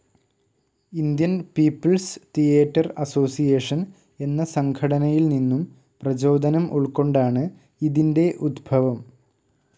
Indian People's Theatre Association എന്ന സംഘടനയിൽനിന്നും പ്രചോദനം ഉൾക്കൊണ്ടാണ് ഇതിൻ്റെ ഉത്ഭവം.